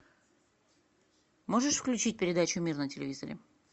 можешь включить передачу мир на телевизоре